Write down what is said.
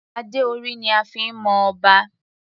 Adé orí ni a fi ń mọ Ọba.